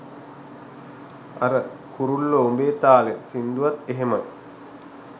අර 'කුරුල්ලෝ උඹේ තාලෙන්' සින්දුවත් එහෙමයි.